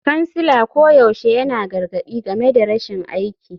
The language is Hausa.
Kansila koyaushe yana gargadi game da rashin aiki.